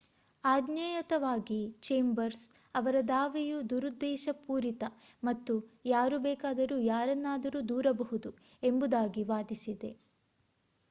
ಆಜ್ಞೇಯತವಾಗಿ Chambers ಅವರ ದಾವೆಯು ದುರುದ್ದೇಶಪೂರಿತ ಮತ್ತು ಯಾರು ಬೇಕಾದರೂ ಯಾರನ್ನಾದರೂ ದೂರಬಹುದು ಎಂಬುದಾಗಿ ವಾದಿಸಿದೆ